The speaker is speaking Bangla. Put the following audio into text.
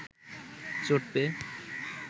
চোট পেয়ে